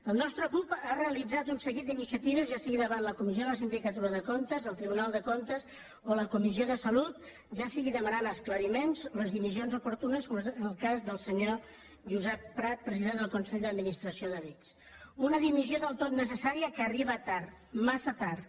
el nostre grup ha realitzat un seguit d’iniciatives ja sigui davant la comissió de la sindicatura de comptes el tribunal de comptes o la comissió de salut ja sigui demanant esclariments o les dimissions oportunes com en el cas del senyor josep prat president del consell d’administració de l’ics una dimissió del tot necessària que arriba tard massa tard